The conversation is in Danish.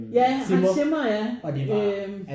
Ja Hans Zimmer ja øh